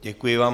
Děkuji vám.